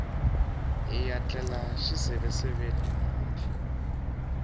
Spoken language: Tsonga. hiya tlela xiseveseveni namuntlha